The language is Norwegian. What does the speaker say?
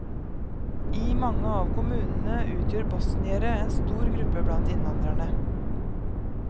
I mange av kommunene utgjør bosniere en stor gruppe blant innvandrerne.